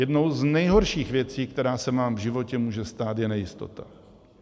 Jednou z nejhorších věcí, která se nám v životě může stát, je nejistota.